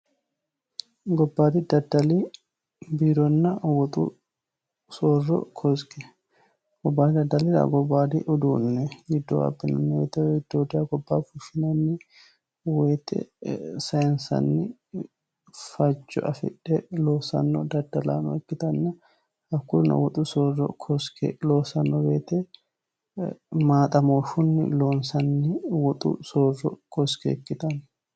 gobbaadi daddali bironna woxu soorro kosike gobbadaddalira gobbaadi uduunne giddoo abbinne bidooda gobbaa fushshinanni woyite sayinsanni faco afidhe loosanno daddalaano ikkitanna hakkunna woxu soorro kosike loosanno beete maaxamooffunni loonsanni woxu soorro koske ikkitanno